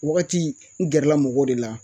Wagati n gɛrɛla mɔgɔw de la